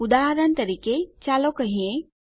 ઉદાહરણ તરીકે ચાલો કહીએ